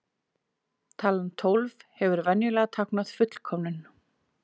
Talan tólf hefur venjulega táknað fullkomnum.